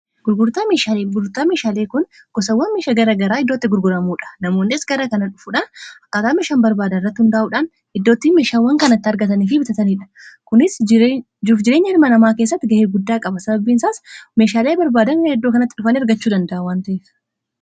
ggururtaa meeshaalee kun gosawwan meesha gara garaa iddootti gurguramuudha namoonniis gara kana dhufuudhaan akaataa meeshaan barbaadan irratti hundaa'uudhaan iddoottii meeshaawwan kanatti argataniifi bitataniidha kunis juuf jireenya hilma namaa kessatti ga'ee guddaa qaba sababbiinsaas meeshaalee barbaadana iddoo kanatti dhufan ergachuu danda'awan ta'ef